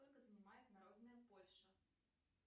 сколько занимает народная польша